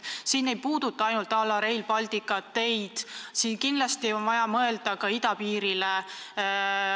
See ei puudata ainult Rail Balticut, kindlasti on vaja mõelda ka idapiirile.